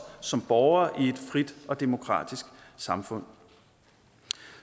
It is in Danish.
som borgere i et frit og demokratisk samfund